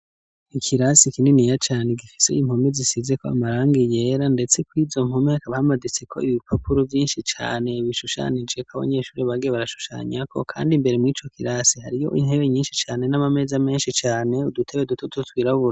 Ikirasi ikinini ya cane gifise yimpomi zisize ko amarang iyera, ndetse kwizo mpumeka bamaditse ko ibipapuro vyinshi cane bishushanijeko abanyeshuri bage barashushanyako, kandi imbere mw'ico kirasi hariyo intebe nyinshi cane n'amameza menshi cane udutebe dutututwirabuwe.